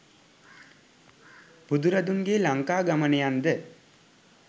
බුදුරදුන්ගේ ලංකාගමනයන් ද